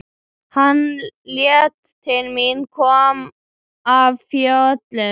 Hann leit til mín, kom af fjöllum.